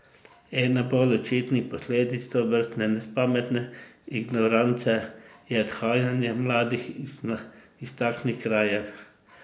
Ena bolj očitnih posledic tovrstne nespametne ignorance je odhajanje mladih iz takšnih krajev.